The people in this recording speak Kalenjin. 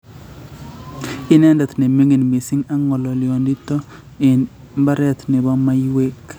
Ineendet ne ming'in miising' ak ng'olyoondoniito eng' mbareet ne po maisyek.